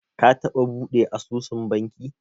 Ka taɓa buɗe asusun banki?